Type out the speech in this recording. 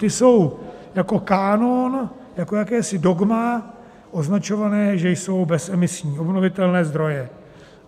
Ty jsou jako kánon, jako jakési dogma, označované, že jsou bezemisní obnovitelné zdroje.